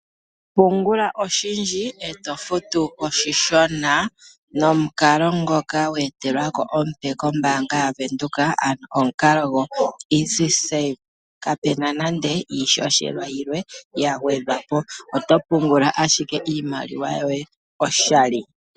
Pungula oshindji eto futu oshishona nomukalo ngoka we etelwa ko omupe kombaanga yaVenduka, ano omukalo ngoka omupu. Kapuna nande iihohela yilwe ya gwedhwa po oto pungula ashike iimaliwa yoye oshali.